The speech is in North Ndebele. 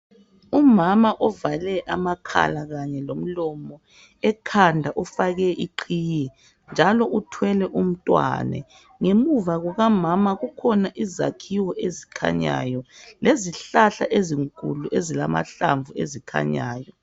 Umama uvale amakhala kanye lomlomo. ekhanda ufake iqhiye njalo uthwele umntwana. Ngemuva kukamama ķukhona izakhiwo ezikhanyayo lezihlahla ezinkulu ezilamahlamvu ezikhanyayo.